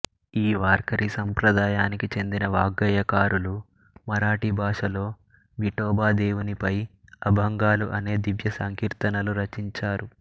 ఈ వార్కరీ సంప్రదాయానికి చెందిన వాగ్గేయకారులు మరాఠీ భాషలో విఠోబా దేవునిపై అభంగాలు అనే దివ్య సంకీర్తనలు రచించారు